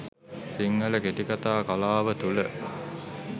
සිංහල කෙටිකතා කලාව තුළ